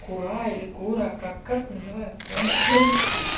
кура или кура как как называют то вообще